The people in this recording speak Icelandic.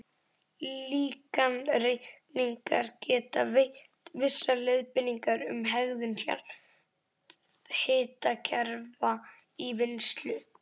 Líkanreikningar geta veitt vissar leiðbeiningar um hegðun jarðhitakerfa í vinnslu.